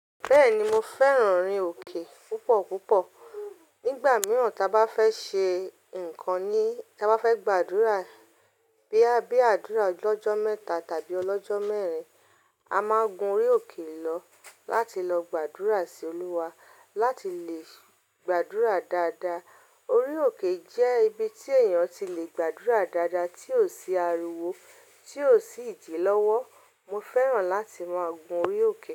Bẹ́ẹ̀ni mo fẹ́ràn orí òkè púpọ̀ púpọ̀. Nígbà mìíràn tí a bá fẹ́ ṣe ǹkan ní, ta bá fẹ́ gbàdúrà bíi, bíi àdúrà ọlọ́jọ́ mẹ́ta tàbí ọlọ́jọ́ mẹ́rin, a máa gun orí òkè lọ láti lọ gbàdúrà sí Olúwa láti lè gbàdúrà dáadáa. Orí òkè jẹ́ ibi tí èèyàn ti le gbàdúrà dáadáa tí ò sí ariwo, tí ò sí ìdìlọ́wọ́. Mo fẹ́ràn láti máa gun orí òkè.